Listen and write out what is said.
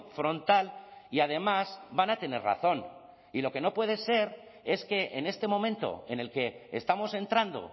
frontal y además van a tener razón y lo que no puede ser es que en este momento en el que estamos entrando